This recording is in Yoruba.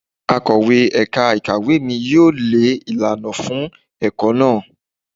Akọ̀wé ẹ̀ka ìkàwé mi yóò lẹ ìlànà fún ẹ̀kọ́ náà.